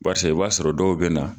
Barisa i b'a sɔrɔ dɔw bɛ na.